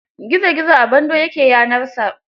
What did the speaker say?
Gizo gizo a bando ya ke yanarsa.